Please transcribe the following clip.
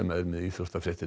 er með íþróttafréttir